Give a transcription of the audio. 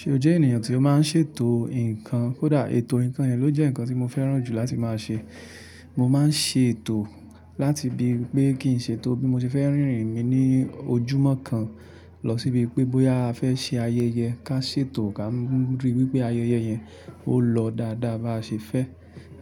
Ṣe o jẹ́ ènìyàn tí ó máa ń ṣètò nǹkan? Kódà ètò ǹkan yẹn ló jẹ́ ǹkan tí mo fẹ́ràn jù láti máa ṣe. Mo máa ń ṣe ètò láti ibi pé kí n ṣètò bí mo ṣe fẹ́ rìnrìn mi ní ojúmọ́ kan lọ síbi pé bóyá a fẹ́ ṣe ayẹyẹ ká ṣètò ká ríi wípé ayẹyẹ yẹn ó lọ dáadáa bá ṣe fẹ́.